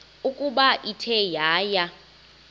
ukuba ithe yaya